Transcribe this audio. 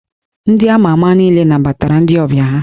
Ndị a ma ama niile nabatara ndị ọbịa ha